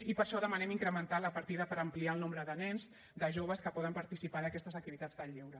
i per això demanem incrementar la partida per ampliar el nombre de nens de joves que poden participar d’aquestes activitats de lleure